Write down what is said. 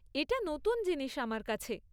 এটা নতুন জিনিস আমার কাছে।